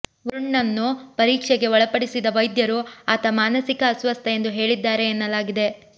ವರುಣ್ನನ್ನು ಪರೀಕ್ಷೆಗೆ ಒಳಪಡಿಸಿದ ವೈದ್ಯರು ಆತ ಮಾನಸಿಕ ಅಸ್ವಸ್ಥ ಎಂದು ಹೇಳಿದ್ಧಾರೆ ಎನ್ನಲಾಗಿದೆ